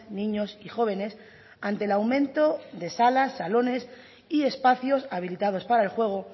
niños y jóvenes ante el aumento de salas salones y espacios habilitados para el juego